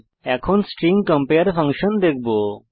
এখন আমরা স্ট্রিং compareকম্পেয়ার ফাংশন দেখবো